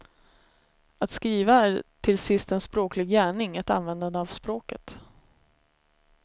Att skriva är till sist en språklig gärning, ett användande av språket.